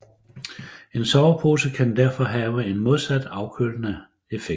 En sovepose kan derfor have en modsat afkølende effekt